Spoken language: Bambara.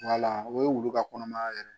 Wala o ye wulu ka kɔnɔmaya yɛrɛ ye